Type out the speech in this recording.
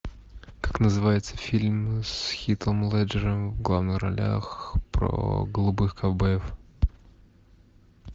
как называется фильм с хитом леджером в главных ролях про голубых ковбоев